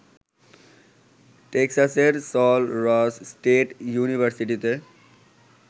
টেক্সাসের Sul Ross state ইউনিভার্সিটিতে